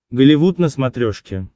голливуд на смотрешке